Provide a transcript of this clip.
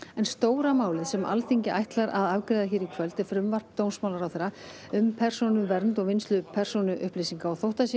en stóra málið sem Alþingi ætlar að afgreiða í kvöld er frumvarp um persónuvernd og vinnslu persónuupplýsinga þótt